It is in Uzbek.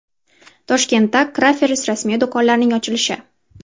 Toshkentda Crafers rasmiy do‘konlarining ochilishi.